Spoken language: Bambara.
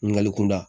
Ɲininkali kunda